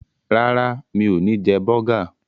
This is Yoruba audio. Rárá, mi ò ní jẹ bọ́gà.